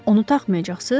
Onu taxmayacaqsınız?